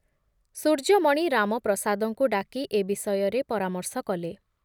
ସୂର୍ଯ୍ୟମଣି ରାମପ୍ରସାଦଙ୍କୁ ଡାକି ଏ ବିଷୟରେ ପରାମର୍ଶ କଲେ ।